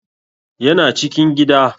Yana cikin gida